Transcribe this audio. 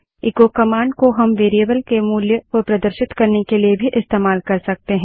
eco command को हम variable के मूल्य को प्रदर्शित करने के लिए भी इस्तेमाल कर सकते हैं